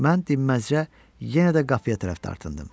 Mən dinməzcə yenə də qapıya tərəf dartıldım.